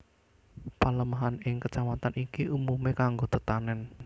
Palemahan ing Kecamatan iki umumé kanggo tetanèn